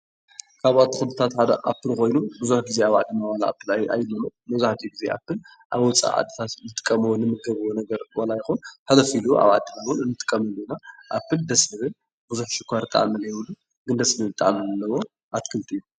ካብ ኣትክልትታት ሓደ ኣፕል ብዙሕ ግዜ ኣብ ዓድና ኣይግነን መብዛሕትኡ ግዜ ኣፕል ኣብ ወፃኢ ዓድታት ዝትከሉ ኮይኖም ሕልፍ ኢሉ ኣብ ዓድና እውን ንጥቀመሉ ኢና ኣብል ደስዝብል ብዙሕ ሽኳር ጣዕሚ ዘይብሉ ደስ ዝብል ጣዕሚ ዘለዎ ኣትክልቲ እዩ፡፡